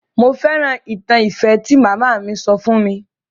Mo fẹ́ràn ìtàn ìfẹ́ tí màmá mi sọ fún mi.